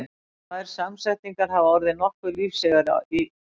Tvær samsetningar hafa orðið nokkuð lífseigar í íslensku.